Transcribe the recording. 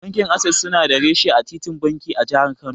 Bankin Ases suna da reshe a titin banki, a Jihar Kano.